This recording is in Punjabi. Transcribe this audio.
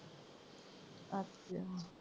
ਅੱਛਾ।